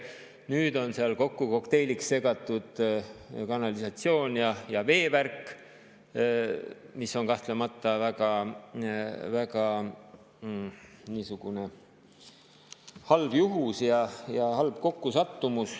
Nüüd on seal kokku kokteiliks segatud kanalisatsioon ja veevärk, mis on kahtlemata väga halb juhus ja halb kokkusattumus.